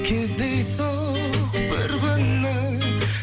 кездейсоқ бір күні